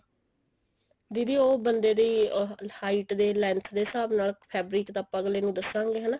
ਦੀਦੀ ਉਹ ਬੰਦੇ ਦੀ height ਦੇ length ਦੇ ਹਿਸਾਬ ਨਾਲ fabric ਤਾਂ ਅੱਗਲੇ ਨੂੰ ਦਸਾਂਗੇ ਆਪਾਂ ਹਨਾ